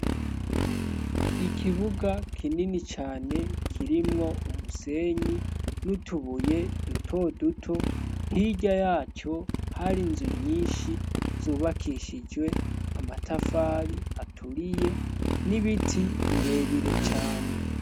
Ikibuga kinini cane kirimwo umusenyi n'utubuye dutoduto, hija yaco hari inzu nyinshi zubakishijwe amatafari aturiye n'ibiti birebire cane.